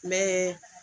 N bɛ